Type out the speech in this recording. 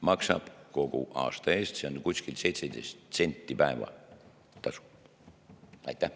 Maksab kogu aasta eest, see on umbes 17 senti päeva kohta.